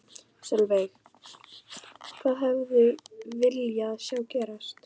Sólveig: Hvað hefði viljað sjá gerast?